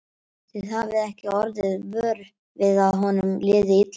Þið hafið ekki orðið vör við að honum liði illa?